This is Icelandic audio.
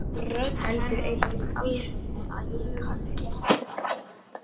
Heldur einhver í alvörunni að ég hafi gert þetta einn?